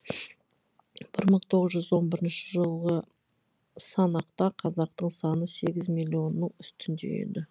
бір мың сегіз жүз он бірінші жылғы санақта қазақтың саны сегіз миллионның үстінде еді